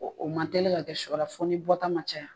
O man teli ka kɛ sɔra fɔ ni bɔta ma caya